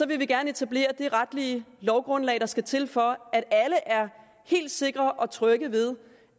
vi gerne etablere det retlige lovgrundlag der skal til for at alle er helt sikre og trygge ved